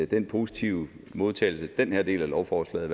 den positive modtagelse som den her del af lovforslaget